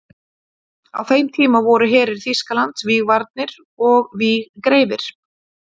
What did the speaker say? Á þeim tíma voru herir Þýskalands vígvanir og vígreifir.